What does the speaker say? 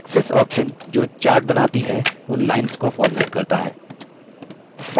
axis option जो chart बनाती हैं उन lines को फ़ॉर्मेट करता है